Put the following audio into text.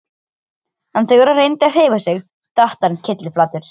En þegar hann reyndi að hreyfa sig datt hann kylliflatur.